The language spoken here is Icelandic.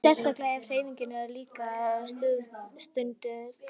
Sérstaklega ef hreyfing er líka stunduð.